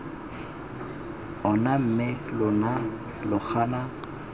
ona mme lona lo gana